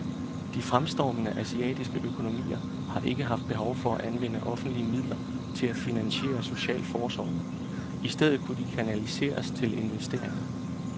De fremstormende asiatiske økonomier har ikke haft behov for at anvende offentlige midler til at finansiere social forsorg, i stedet kunne de kanaliseres til investeringer.